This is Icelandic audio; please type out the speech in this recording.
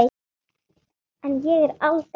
En ég er aldrei ein.